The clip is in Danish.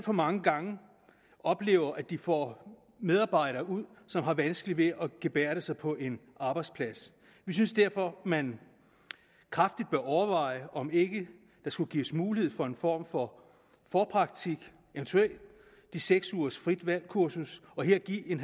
for mange gange oplever at de får medarbejdere ud som har vanskeligt ved at gebærde sig på en arbejdsplads vi synes derfor man kraftigt bør overveje om ikke der skulle gives mulighed for en form for forpraktik eventuelt de seks ugers frit valg kursus og her gives en